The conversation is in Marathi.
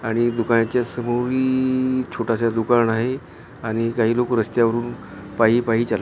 आणि दुकानाच्या समोरी इ इ छोट स दुकान आहे आणि काही लोक रस्त्यावरून पायी पायी चालत आहे .